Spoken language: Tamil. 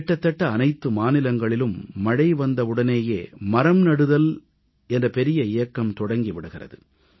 கிட்டத்தட்ட அனைத்து மாநிலங்களிலும் மழை வந்தவுடனேயே மரம்நடுதல் என்ற பெரிய இயக்கம் தொடங்கி விடுகிறது